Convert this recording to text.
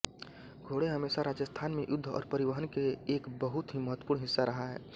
घोड़े हमेशा राजस्थान में युद्ध और परिवहन के एक बहुत ही महत्वपूर्ण हिस्सा रहा है